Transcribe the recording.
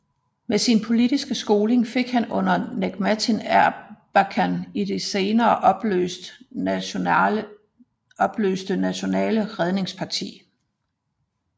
Sin politiske skoling fik han under Necmettin Erbakan i det senere opløste Nationale redningsparti